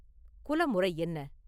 குலமுறை என்ன?